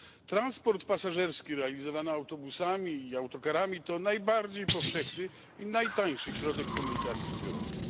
Transport pasażerski realizowany autobusami i autokarami to najbardziej powszechny i najtańszy środek komunikacji zbiorowej.